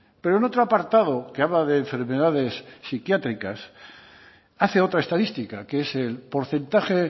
pero en otro apartado que habla de enfermedades psiquiátricas hace otra estadística que es el porcentaje